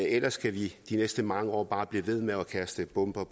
ellers kan vi i de næste mange år bare blive ved med at kaste bomber